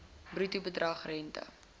bruto bedrag rente